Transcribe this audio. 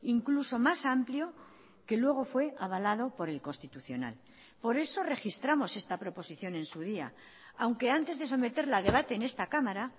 incluso más amplio que luego fue avalado por el constitucional por eso registramos esta proposición en su día aunque antes de someterla a debate en esta cámara